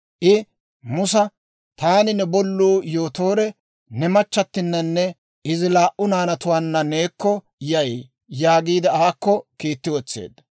I Musa, «Taani, ne bolluu Yootoore, ne machchattinanne izi laa"u naanatuwaanna neekko yay» yaagiide aakko kiitti wotseedda.